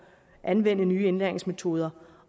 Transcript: at anvende nye indlæringsmetoder